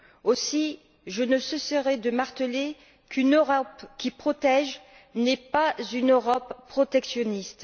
Aussi, je ne cesserai de marteler qu'une Europe qui protège n'est pas une Europe protectionniste.